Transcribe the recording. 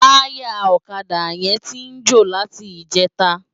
Tàyá òkadá yèn ti jó láti ijètá